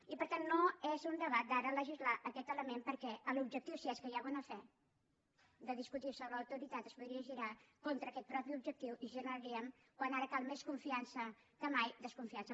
i per tant no és un debat d’ara legislar aquest element perquè l’objectiu si és que hi ha bona fe de discutir sobre l’autoritat es podria girar contra aquest mateix objectiu i generaríem quan ara cal més confiança que mai desconfiança